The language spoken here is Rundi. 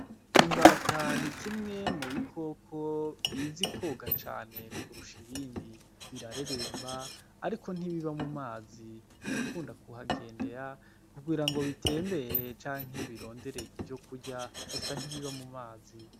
Imbatana ikimwemu bi koko biza i koga cane kurusha ibindi birareremba, ariko ntibiba mu mazi birakunda kuhagendera kugira ngo bitembere canke iyobirondere ivyo kurya gusa ntibiba mu mazi.